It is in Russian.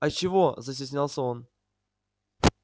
а чего застеснялся он